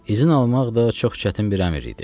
İzin almaq da çox çətin bir əmr idi.